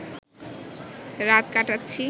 রাত কাটাচ্ছি